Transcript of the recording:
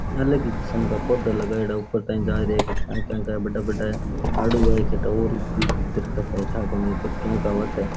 अलग ही किस्म का पौधा लगायोडा ऊपर ताहि जा रिया है काई ठा काई काई का है बढ़ा बढ़ा है आड़ू है काई ठा और की दरकत है ठा कोनी के का होवे तो है।